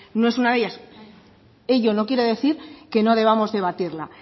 no es una de ellas ello no quiere decir que no debamos debatirla